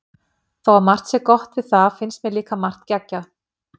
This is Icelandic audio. Þó að margt sé gott við það finnst mér líka margt geggjað.